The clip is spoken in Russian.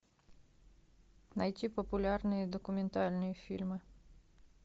найти популярные документальные фильмы